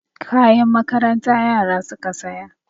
Kayan makaranta yara suka saya.